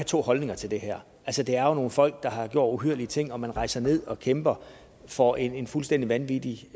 to holdninger til det her altså det er jo nogle folk der har gjort uhyrlige ting og man rejser ned og kæmper for en fuldstændig vanvittig